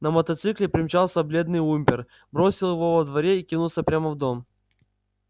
на мотоцикле примчался бледный уимпер бросил его во дворе и кинулся прямо в дом